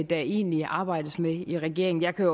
der egentlig arbejdes med i regeringen jeg kan